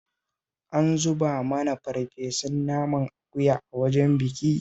An zuba mana farfesun naman akuya a wajen bikin